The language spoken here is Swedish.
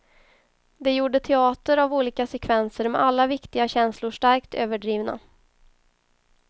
De gjorde teater av olika sekvenser med alla viktiga känslor starkt överdrivna.